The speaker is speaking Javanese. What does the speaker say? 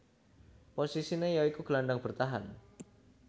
Posisiné ya iku gelandang bertahan